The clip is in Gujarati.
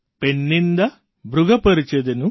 પૈણ્ણિન્દા ભૃગુ પેર્ચિદનુ